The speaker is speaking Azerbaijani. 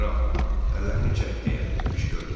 Kral, əllərini çək deyə qışqırdı.